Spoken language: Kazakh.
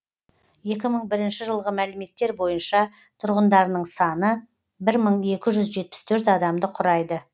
екі мың бірінші жылғы мәліметтер бойынша тұрғындарының саны бір мың екі жүз жетпіс төрт адамды құрайды